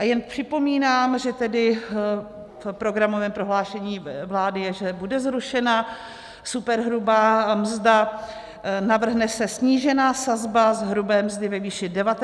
A jen připomínám, že tedy v programovém prohlášení vlády je, že bude zrušena superhrubá mzda, navrhne se snížená sazba z hrubé mzdy ve výši 19 % atd.